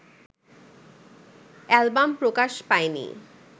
album প্রকাশ পায়নি